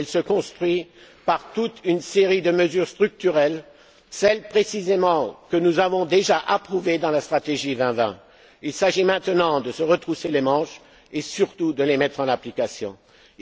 pas. Elle se construit par toute une série de mesures structurelles, celles précisément que nous avons déjà approuvées dans la stratégie Europe 2020. Il s'agit maintenant de se retrousser les manches et surtout de mettre en application ces